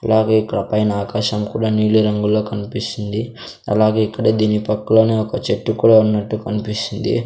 అలాగే ఇక్కడ పైన ఆకాశం కూడా నీలి రంగులో కనిపిస్తుంది అలాగే ఇక్కడ దీని పక్కలోనే ఒక చెట్టు కూడా ఉన్నట్టు కనిపిస్తుంది.